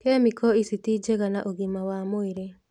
Kemiko ici ti njega na ũgima wa mwĩrĩ